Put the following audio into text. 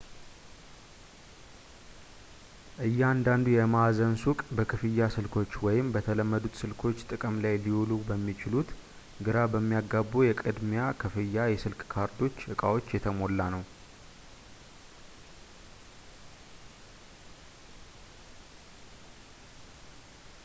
እያንዳንዱ የማዕዘን ሱቅ በክፍያ ስልኮች ወይም በተለመዱት ስልኮች ጥቅም ላይ ሊውሉ በሚችሉት ግራ በሚያጋቡ የቅድሚያ ክፍያ የስልክ ካርዶች እቃዎች የተሞላ ነው